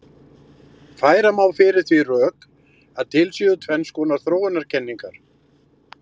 Færa má fyrir því rök að til séu tvenns konar þróunarkenningar.